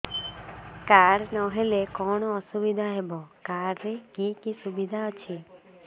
card ନହେଲେ କଣ ଅସୁବିଧା ହେବ କାର୍ଡ ରେ କି କି ସୁବିଧା ଅଛି